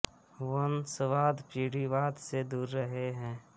once वाद पीढ़ी वाद से दूर रहे है